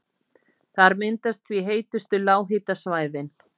Þar myndast því heitustu lághitasvæðin.